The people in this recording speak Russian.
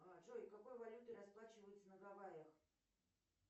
джой какой валютой расплачиваются на гавайях